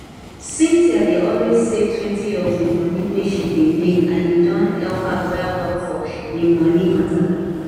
cynthia dey always savetwentyof de monie wey she dey make and e don help am well well for im monie matter